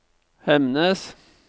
Hemnes